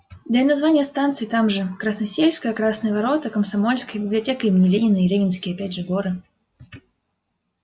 да и названия станций там тоже красносельская красные ворота комсомольская библиотека имени ленина и ленинские опять же горы